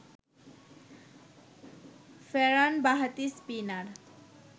ফেরান বাঁহাতি স্পিনার